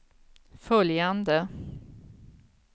följande